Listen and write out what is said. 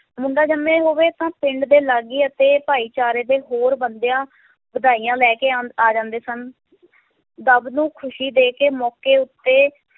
ਮੁੰਡਾ ਜਮਿਆਂ ਹੋਵੇ ਤਾਂ ਪਿੰਡ ਦੇ ਲਾਗੀ ਅਤੇ ਭਾਈਚਾਰੇ ਦੇ ਹੋਰ ਬੰਦਿਆਂ ਵਧਾਈਆਂ ਲੈ ਕੇ ਆ~ ਆ ਜਾਂਦੇ ਸਨ ਦੁੱਬ ਨੂੰ ਖ਼ਸ਼ੀ ਦੇ ਕੇ ਮੌਕੇ ਉੱਤੇ